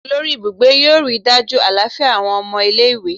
Olori ibugbe yoo rii daju alafia awọn ọmọ ile-iwe